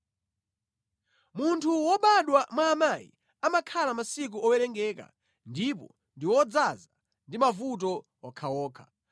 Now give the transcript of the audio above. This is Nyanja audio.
“Munthu wobadwa mwa amayi amakhala masiku owerengeka ndipo ndi odzaza ndi mavuto okhaokha.